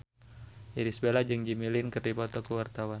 Irish Bella jeung Jimmy Lin keur dipoto ku wartawan